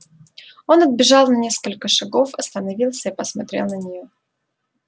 он отбежал на несколько шагов остановился и посмотрел на нее